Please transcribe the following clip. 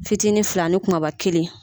Fitinin fila ni kumaba kelen.